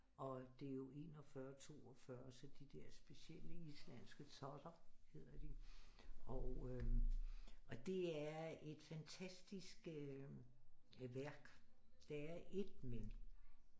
Og det er jo 41 42 så de der specielle islandske totter hedder de og øh og det er et fantastisk værk der er et men